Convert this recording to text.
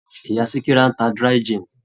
Ìyá Sikira ń ta dry gin.